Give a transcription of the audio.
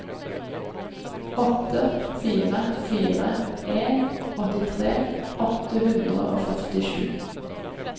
åtte fire fire en åttitre åtte hundre og førtisju